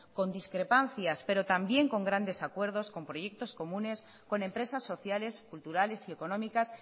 con discrepancias pero también con grandes acuerdos con proyectos comunes con empresas sociales culturales y económicas